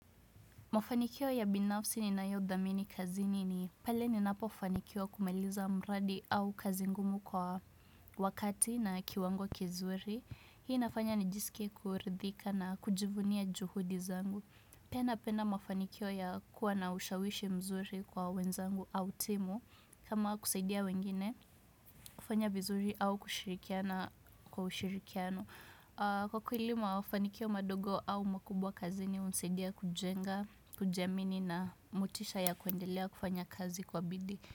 Mafanikio ya binafsi ninayodhamini kazini ni pale ninapofanikiwa kumaliza mradi au kazi ngumu kwa wakati na kiwango kizuri. Hii inafanya nijisike kuridhika na kujivunia juhudi zangu. Pia napenda mafanikio ya kuwa na ushawishi mzuri kwa wenzangu au timu kama kusaidia wengine kufanya vizuri au kushirikiana kwa ushirikiano. Kwa kweli mafanikio madogo au makubwa kazini hunisidia kujenga, kujiamini na motisha ya kuendelea kufanya kazi kwa bidii.